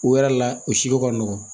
O wɛrɛ la o siko ka nɔgɔn